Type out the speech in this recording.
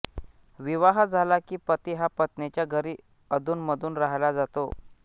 विवाह झाला की पती हा पत्नीच्या घरी अधूनमधून राहायला जातो